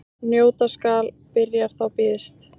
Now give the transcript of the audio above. Njóta skal byrjar þá býðst.